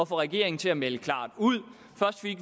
få regeringen til at melde klart ud